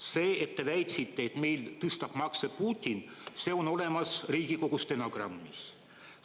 See, et te väitsite, et meil tõstab makse Putin, on olemas Riigikogu stenogrammis.